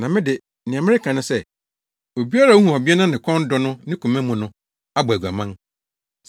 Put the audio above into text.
Na me de, nea mereka ne sɛ: Obiara a ohu ɔbea na ne kɔn dɔ no ne koma mu no, abɔ aguaman.